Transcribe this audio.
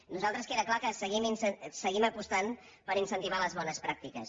nosaltres queda clar que seguim apostant per incentivar les bones pràctiques